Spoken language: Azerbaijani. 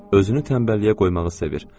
Özünü tənbəlliyə qoymağı sevir.